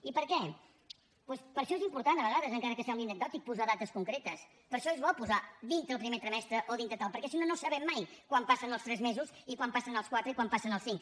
i per què doncs per això és important de vegades encara que sembli anecdòtic posar dates concretes per això és bo posar dintre del primer trimestre o dintre de tal perquè si no no sabem mai quan passen els tres mesos i quan passen els quatre i quan passen els cinc